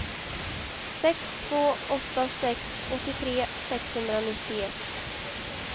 sex två åtta sex åttiotre sexhundranittioett